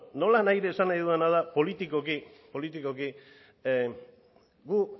nolanahi ere esan nahi dudana da politikoki gu